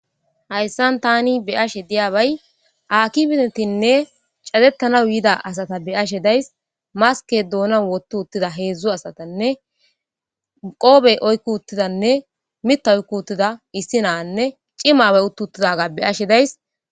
Hayssan tani be ashe diyabay akki binetinne catettana yiida asata be ashe days maske doonan wottu uttida heedzdzu asatanne qoobey oykki uttidanne mita oykku uttida issi naanne cimabe uttu uttidaga be ashe days.